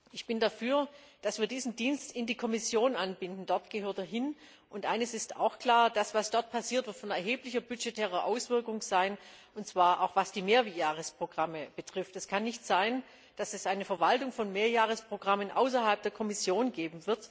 Ich bin dafür, dass wir diesen Dienst in die Kommission einbinden, denn dort gehört er hin. Und eines ist auch klar Das, was dort passiert, wird erhebliche budgetäre Auswirkungen haben, und zwar auch, was die Mehrjahresprogramme betrifft. Es kann nicht sein, dass es eine Verwaltung von Mehrjahresprogrammen außerhalb der Kommission gibt.